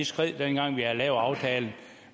skred dengang vi havde lavet aftalen